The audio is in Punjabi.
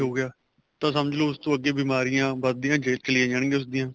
ਹੋ ਗਿਆ ਤਾਂ ਸਮਝਲੋ ਉਸ ਤੋਂ ਅੱਗੇ ਬਿਮਾਰੀਆਂ ਵੱਧ ਦੀਆਂ ਚੱਲੀਆਂ ਜਾਣ ਗਈਆਂ ਉਸ ਦੀਆਂ